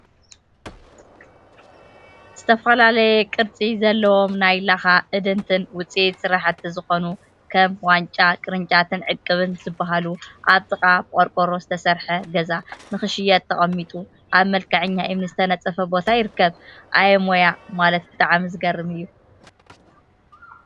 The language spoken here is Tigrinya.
ዝተፈላለየ ቅርፂ ዘለዎም ናይ ላካን እድንቲን ውፅኢት ስራሕቲ ዝኮኑ፤ ከም ዋንጫ፣ ቅርጫትን ዕቅብን ዝበሃሉ አብ ጥቃ ብቆርቆሮ ዝተሰርሐ ገዛ ንክሽየጡ ተቀሚጦም አብ መልክዐኛ እምኒ ዝተነፀፈ ቦታ ይርከቡ፡፡ አየ ሞያ ማለት ብጣዕሚ ዝገርም እዩ፡፡